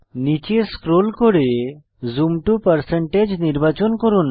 নীচে স্ক্রোল করে zoom to নির্বাচন করুন